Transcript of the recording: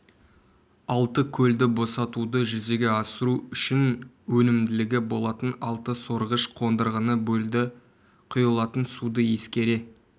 алты көлді босатуды жүзеге асыру үшін өнімділігі болатын алты сорғыш қондырғыны бөлді құйылатын суды ескере